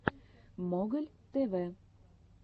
моголь тв